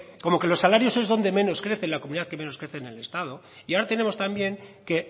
como que los salarios son donde menos crece en la comunidad y menos crece en el estado y ahora tenemos también que